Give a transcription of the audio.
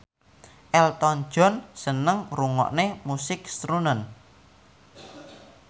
Elton John seneng ngrungokne musik srunen